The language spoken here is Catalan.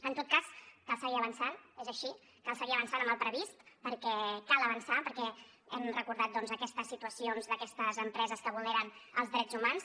en tot cas cal seguir avançant és així cal seguir avançant amb el previst perquè cal avançar perquè hem recordat doncs aquestes situacions d’aquestes empreses que vulneren els drets humans